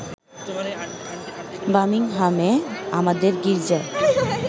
বামিংহামে আমাদের গীর্জায়